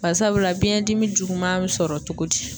Barisabula biɲɛdimi juguman bɛ sɔrɔ cogo di?